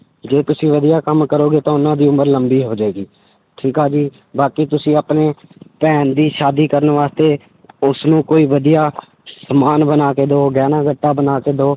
ਜੇ ਤੁਸੀਂ ਵਧੀਆ ਕੰਮ ਕਰੋਗੇ ਤਾਂ ਉਹਨਾਂ ਦੀ ਉਮਰ ਲੰਬੀ ਹੋ ਜਾਏਗੀ, ਠੀਕ ਆ ਜੀ, ਬਾਕੀ ਤੁਸੀਂ ਆਪਣੇ ਭੈਣ ਦੀ ਸ਼ਾਦੀ ਕਰਨ ਵਾਸਤੇ ਉਸਨੂੰ ਕੋਈ ਵਧੀਆ ਸਮਾਨ ਬਣਾ ਕੇ ਦਓ ਗਹਿਣਾ ਗੱਟਾ ਬਣਾ ਕੇ ਦਓ।